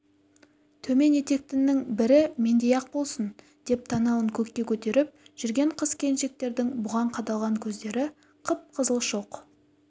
төмен етектінің бірі мендей-ақ болсын деп танауын көкке көтеріп жүрген қыз-келіншектердің бұған қадалған көздері қып-қызыл шоқ